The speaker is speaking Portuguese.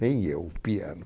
Nem eu, o piano.